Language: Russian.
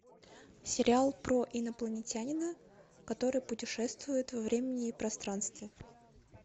сериал про инопланетянина который путешествует во времени и пространстве